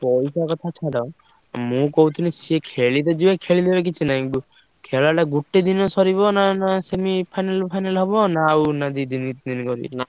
ପଇସା କଥା ଛାଡ ମୁଁ କହୁଥିଲି ସିଏ ଖେଇବାକୁ ଯିବେ ଖେଳିଲେ କିଛି ନାହିଁ।